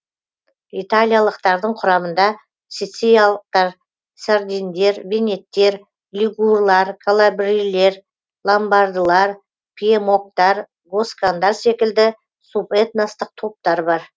италиялықтардың құрамында сицилиялықтар сардиндер венеттер лигурлар калабрилер ломбардылар пьемокттар госкандар секілді субэтностық топтар бар